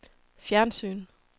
fjernsyn